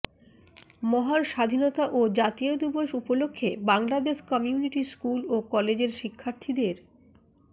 মহান স্বাধীনতা ও জাতীয় দিবস উপলক্ষে বাংলাদেশ কমিউনিটি স্কুল ও কলেজের শিক্ষার্থীদের